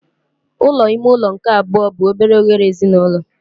Ụlọ ime ụlọ nke abụọ bụ obere oghere ezinụlọ.